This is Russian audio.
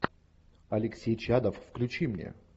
алексей чадов включи мне